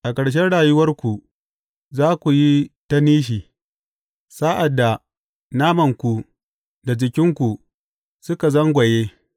A ƙarshen rayuwarku za ku yi ta nishi, sa’ad da namanku da jikinku suka zagwanye.